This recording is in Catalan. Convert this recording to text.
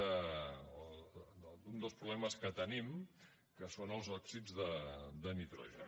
d’un dels problemes que tenim que són els òxids de nitrogen